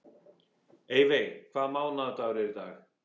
Eyveig, hvaða mánaðardagur er í dag?